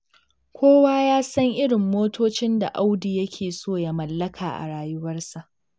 Kowa ya san irin motocin da Audu yake so ya mallaka a rayuwarsa.